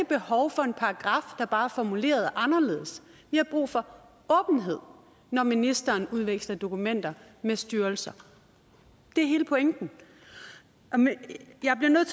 behov for en paragraf der bare er formuleret anderledes vi har brug for åbenhed når ministeren udveksler dokumenter med styrelser det er hele pointen jeg bliver nødt